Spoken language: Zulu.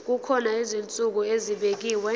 kukhona izinsuku ezibekiwe